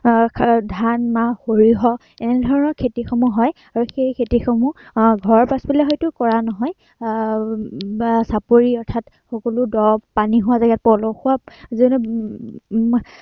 তাৰ এৰ ধান, মাহ সৰিয়হ এনেধৰণৰ খেতিসমূহ হয়, এৰ আৰু সেই খেতিসমূহৰ সেই খেতিসমূহ আহ ঘৰত থাকিলে হয়তো কৰা নহয়, আহ বা চাপৰি অৰ্থাত, সকলো দ' পানী হোৱা জেগাত পলসুৱা যেনে, উম